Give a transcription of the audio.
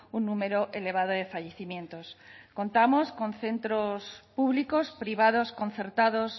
un número elevado de fallecimientos contamos con centros públicos privados concertados